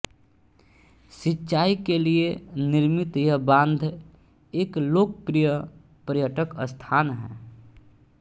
सिंचाई के लिए निर्मित यह बाँध एक लोकप्रिय पर्यटक स्थान है